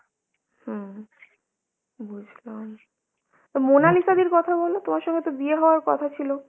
হুম বুঝলাম, মোনালিসা দির কথা বলো, তোমার সঙ্গে তো বিয়ে হওয়ার কথা ছিল।